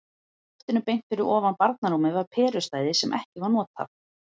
Í loftinu beint fyrir ofan barnarúmið var perustæði sem ekki var notað.